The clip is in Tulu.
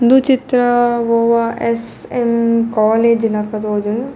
ಉಂದು ಚಿತ್ರ ಒವಾ ಎಸ್ಸ್ ಎಮ್ಮ್ ಕಾಲೆಜ್ ಲಕ ತೋಜುಂಡು.